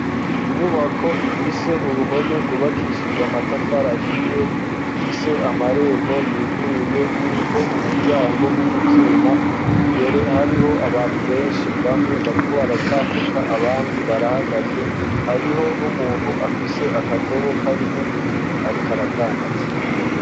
Inyubako ifise uruhome rwubakishijwe amatafari ahiye, ifise amarembo yuguruye uriko umuryango w'ivyuma imbere hariho abantu benshi bamwe bariko baratambuka abandi barahagaze, hariho n'umuntu afise akadobo karimwo ibintu ariko aradandaza.